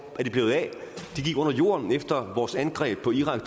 er de blevet af de gik under jorden efter vores angreb på irak